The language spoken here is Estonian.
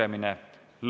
Istungi lõpp kell 15.15.